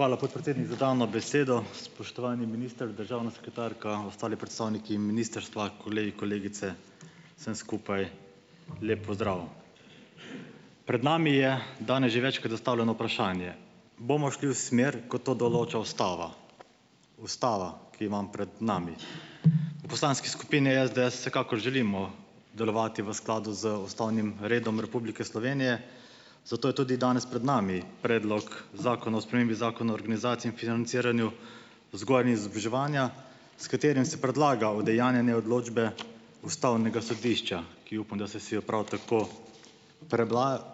Hvala, podpredsednik, za dano besedo. Spoštovani minister, državna sekretarka, ostali predstavniki ministrstva, kolegi kolegice, vsem skupaj lep pozdrav! Pred nami je danes že večkrat zastavljeno vprašanje. Bomo šli v smer, kot to določa ustava? Ustava, ki jo imam pred nami. V poslanski skupini SDS vsekakor želimo delovati v skladu z ustavnim redom Republike Slovenije, zato je tudi danes pred nami predlog zakona o spremembi zakona o organizaciji in financiranju vzgoje in izobraževanja, s katerim se predlaga udejanjanje odločbe ustavnega sodišča, ki upam, da ste si jo prav tako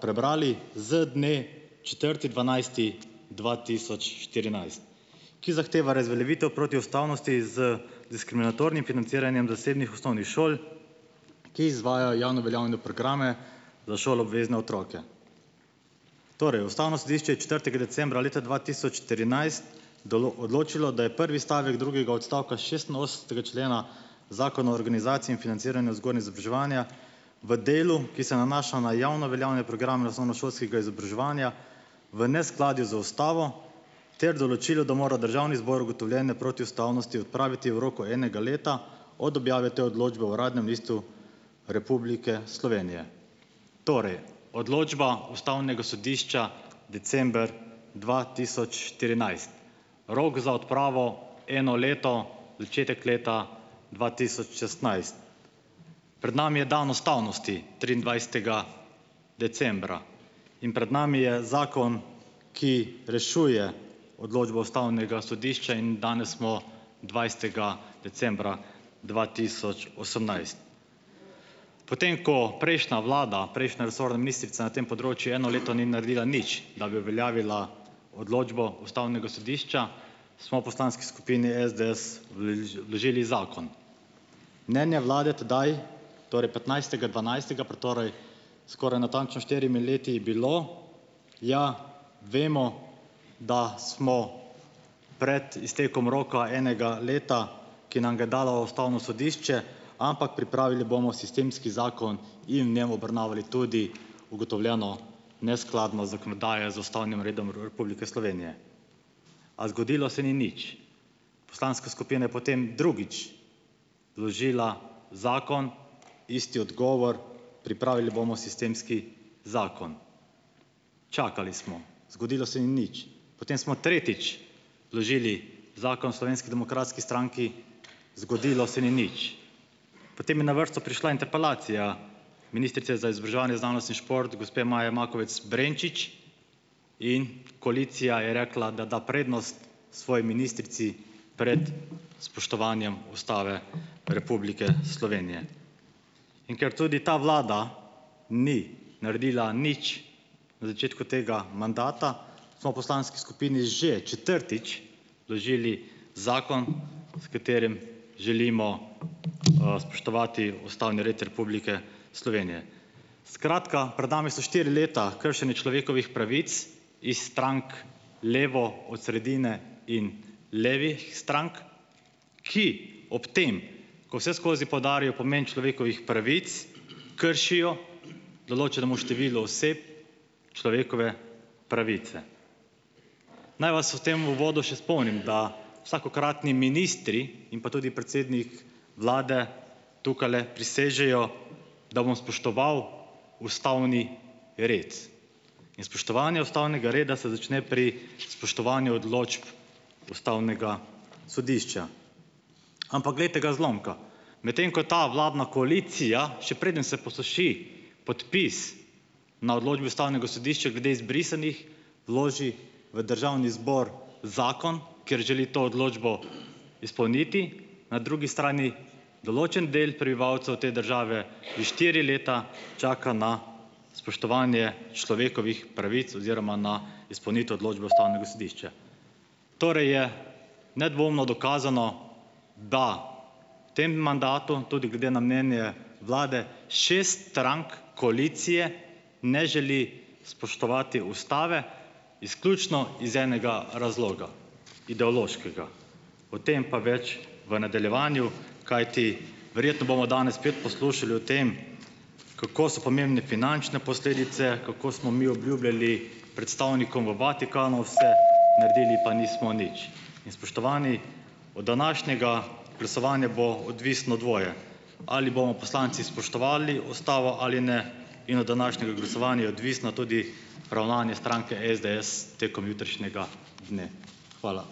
prebrali, z dne četrti dvanajsti dva tisoč štirinajst, ki zahteva razveljavitev protiustavnosti z diskriminatornim financiranjem zasebnih osnovnih šol, ki izvajajo javno veljavne programe za šoloobvezne otroke. Torej, ustavno sodišče je četrtega decembra leta dva tisoč štirinajst odločilo, da je prvi stavek drugega odstavka šestinosemdesetega člena zakona o organizaciji in financiranju vzgoje in izobraževanja v delu, ki se nanaša na javno veljavne programe osnovnošolskega izobraževanja, v neskladju z ustavo ter določilo, da mora državni zbor ugotovljene protiustavnosti odpraviti v roku enega leta od objave te odločbe v Uradnem listu Republike Slovenije. Torej, odločba ustavnega sodišča, december dva tisoč štirinajst. Rok za odpravo: eno leto. Začetek leta dva tisoč šestnajst. Pred nami je dan ustavnosti triindvajsetega decembra in pred nami je zakon, ki rešuje odločbo ustavnega sodišča, in danes smo dvajsetega decembra dva tisoč osemnajst. Potem, ko prejšnja vlada, prejšnja resorna ministrica na tem področju eno leto ni naredila nič, da bi uveljavila odločbo ustavnega sodišča, smo v poslanski skupini SDS vložili zakon. Mnenje vlade tedaj, torej petnajstega dvanajstega, pred torej skoraj natančno štirimi leti bilo: "Ja, vemo, da smo pred iztekom roka enega leta, ki nam ga je dalo ustavno sodišče, ampak pripravili bomo sistemski zakon in, ne, obravnavali tudi ugotovljeno neskladnost zakonodaje z ustavnim redom Republike Slovenije." A zgodilo se ni nič. Poslanska skupina je potem drugič vložila zakon, isti odgovor: "Pripravili bomo sistemski zakon." Čakali smo. Zgodilo se ni nič. Potem smo tretjič vložili zakon v Slovenski demokratski stranki, zgodilo se ni nič. Potem je na vrsto prišla interpelacija ministrice za izobraževanje, znanost in šport, gospe Maje Makovec Brenčič in koalicija je rekla, da da prednost svoji ministrici pred spoštovanjem Ustave Republike Slovenije. In ker tudi ta vlada ni naredila nič na začetku tega mandata, smo v poslanski skupini že četrtič vložili zakon, s katerim želimo, spoštovati ustavni red Republike Slovenije. Skratka, pred nami so štiri leta kršenja človekovih pravic iz strank levo od sredine in levih strank, ki ob tem, ko vseskozi poudarjajo pomen človekovih pravic, kršijo določenemu številu oseb človekove pravice. Naj vas o tem v uvodu še spomnim, da vsakokratni ministri in pa tudi predsednik vlade tukajle prisežejo, da bom spoštoval ustavni red, in spoštovanje ustavnega reda se začne pri spoštovanju odločb ustavnega sodišča. Ampak glejte ga zlomka, medtem ko ta vladna koalicija, še preden se posuši podpis na odločbi ustavnega sodišča glede izbrisanih, vloži v državni zbor zakon, ker želi to odločbo izpolniti, na drugi strani določen del prebivalcev te države že štiri leta čaka na spoštovanje človekovih pravic oziroma na izpolnitev odločbe ustavnega sodišča. Torej je nedvomno dokazano, da v tem mandatu tudi glede na mnenje vlade šest strank koalicije ne želi spoštovati ustave, izključno iz enega razloga, ideološkega. O tem pa več v nadaljevanju, kajti verjetno bomo danes spet poslušali o tem, kako so pomembne finančne posledice, kako smo mi obljubljali predstavnikom v Vatikanu vse, naredili pa nismo nič. In spoštovani, od današnjega glasovanja bo odvisno dvoje, ali bomo poslanci spoštovali ustavo ali ne, in od današnjega glasovanja je odvisno tudi ravnanje stranke SDS tekom jutrišnjega dne. Hvala.